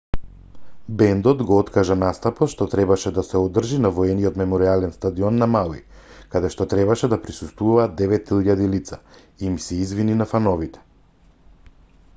бендот го откажа настапот што требаше да се одржи на воениот меморијален стадион на мауи каде што требаше да присуствуваат 9000 лица и им се извини на фановите